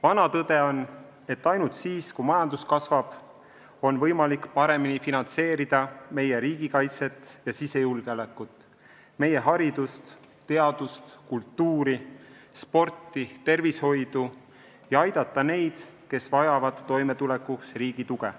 Vana tõde on, et ainult siis, kui majandus kasvab, on võimalik paremini finantseerida meie riigikaitset ja sisejulgeolekut, meie haridust, teadust, kultuuri, sporti, tervishoidu ja aidata neid, kes vajavad toimetulekuks riigi tuge.